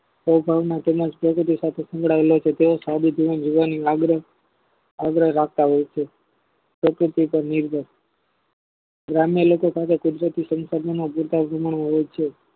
પારીભાવના તેમજ આગ્રહ રાખતા હોય છે ગ્રામ્ય લોકો સાથે કુદરતી સંસાધનમાં ગીતાજીમાં હોય છે